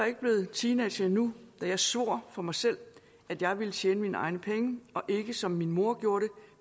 ikke blevet teenager endnu da jeg svor for mig selv at jeg ville tjene mine egne penge og ikke som min mor gjorde